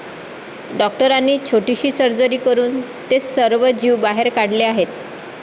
डॉक्टरांनी छोटीशी सर्जरी करून ते सर्व जीव बाहेर काढले आहेत.